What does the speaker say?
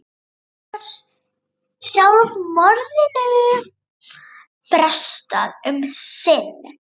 Þar með var sjálfsmorðinu frestað um sinn.